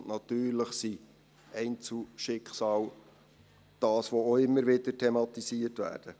Und natürlich sind Einzelschicksale etwas, was auch immer wieder thematisiert wird.